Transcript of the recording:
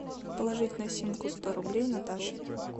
положить на симку сто рублей наташе